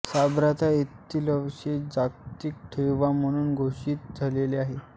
Sabratha येथील अवशेष जागतिक ठेवा म्हणून घोषित झालेले आहेत